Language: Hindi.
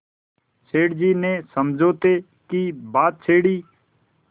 सेठ जी ने समझौते की बात छेड़ी